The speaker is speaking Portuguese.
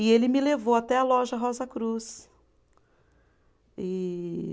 E ele me levou até a loja Rosa Cruz. E